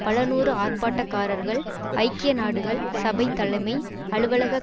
பலநூறு ஆர்ப்பாட்டக்காரர்கள் ஐக்கிய நாடுகள் சபை தலைமை அலுவலக